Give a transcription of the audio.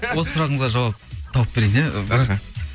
осы сұрағыңызға жауап тауып берейін иә іхі